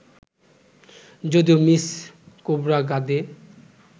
যদিও মিস খোবরাগাডে